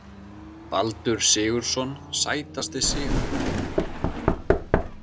Baldur Sigurðsson Sætasti sigurinn?